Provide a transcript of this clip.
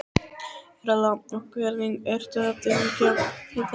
Erla: Og hvernig ertu að tengja við þetta?